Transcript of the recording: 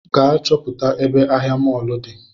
Gaa chọpụta ebe ahịa mọlụ di